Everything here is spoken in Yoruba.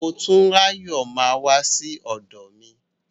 Motúnráyọ̀ máa wá sí ọ̀dọ̀ mi.